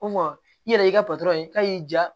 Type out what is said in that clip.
Ko i yɛrɛ y'i ka patɔrɔn ye k'a y'i ja